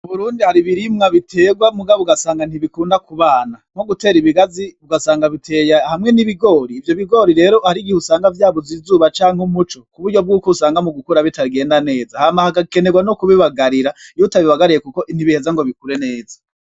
Muburundi hari ibirimwa biterwa mugabo ugasanga nt'ibikunda k'ubana nkogutera ibigazi ugasanga biteye hamwe n'ibigori ivyo bigori rero harigihe usanga vyabuze izuba canke umuco kuburyo usanga mugukura bitagenda neza hama hagakenerwa no kubibagarira iyo utabibagariye nt'ibiheza ngo bikure neza.